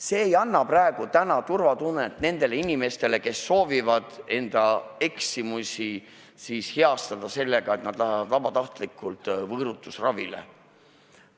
See ei anna praegu turvatunnet nendele inimestele, kes soovivad enda eksimusi heastada sellega, et nad läheksid vabatahtlikult võõrutusravile.